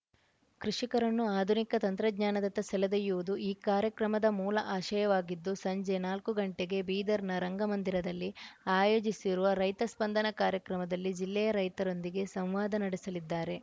ಕೃಷಿಕರನ್ನು ಆಧುನಿಕ ತಂತ್ರಜ್ಞಾನದತ್ತ ಸೆಳೆದೊಯ್ಯುವುದು ಈ ಕಾರ್ಯಕ್ರಮದ ಮೂಲ ಆಶಯವಾಗಿದ್ದು ಸಂಜೆ ನಾಲ್ಕು ಗಂಟೆಗೆ ಬೀದರ್‌ನ ರಂಗ ಮಂದಿರದಲ್ಲಿ ಆಯೋಜಿಸಿರುವ ರೈತ ಸ್ಪಂದನ ಕಾರ್ಯಕ್ರಮದಲ್ಲಿ ಜಿಲ್ಲೆಯ ರೈತರೊಂದಿಗೆ ಸಂವಾದ ನಡೆಸಲಿದ್ದಾರೆ